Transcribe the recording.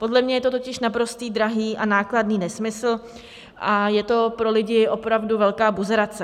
Podle mě je to totiž naprostý drahý a nákladný nesmysl a je to pro lidi opravdu velká buzerace.